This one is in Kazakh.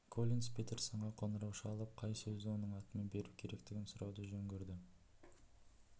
коллинс петерсонға қоңырау шалып қай сөзді оның атымен беру керектігін сұрауды жөн көрді